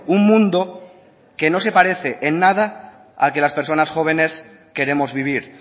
un mundo que no se parece en nada al que las personas jóvenes queremos vivir